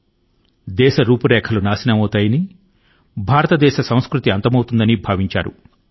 ఒకానొక కాలం లో భారతదేశం తుడిచిపెట్టుకుపోతుందనీ భారతీయ సంస్కృతి సర్వనాశనమవుతుందనీ భావించారు